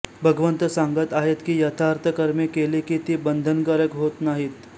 भगवंत सांगत आहेत की यज्ञार्थ कर्मे केली की ती बंधनकारक होत नाहीत